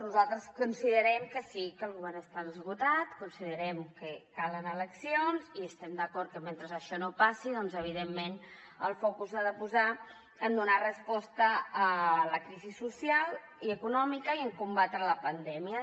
nosaltres considerem que sí que el govern està esgotat considerem que calen eleccions i estem d’acord que mentre això no passi evidentment el focus s’ha de posar en donar resposta a la crisi social i econòmica i en combatre la pandèmia